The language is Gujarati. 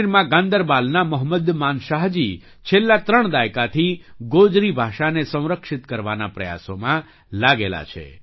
કાશ્મીરમાં ગાન્દરબલના મોહમ્મદ માનશાહજી છેલ્લા ત્રણ દાયકાથી ગોજરી ભાષાને સંરક્ષિત કરવાના પ્રયાસોમાં લાગેલા છે